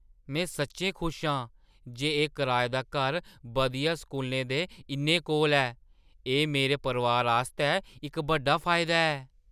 में सच्चैं खुश आं जे एह् कराए दा घर बधिया स्कूलें दे इन्ने कोल ऐ। एह् मेरे परोआरै आस्तै इक बड्डा फायदा ऐ।